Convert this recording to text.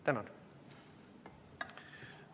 Tänan!